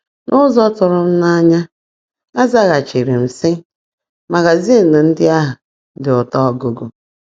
N’ụzọ tụrụ m n’anya, ọ zaghachiri sị, “Magazin ndị ahụ dị ụtọ ọgụgụ”